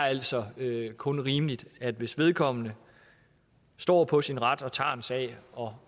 altså kun er rimeligt at hvis vedkommende står på sin ret og tager en sag og